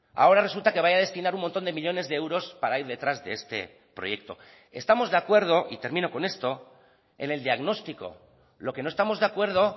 ahora resulta que vaya a destinar un montón de millónes de euros para ir detrás de este proyecto estamos de acuerdo y termino con esto en el diagnóstico lo que no estamos de acuerdo